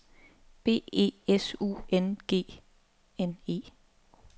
B E S U N G N E